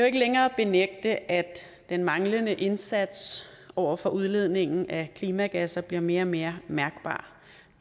ikke længere benægte at den manglende indsats over for udledningen af klimagasser bliver mere og mere mærkbar